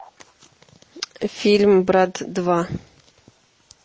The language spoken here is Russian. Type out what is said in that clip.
фильм брат два